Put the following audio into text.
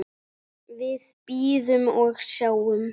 Við bíðum og sjáum.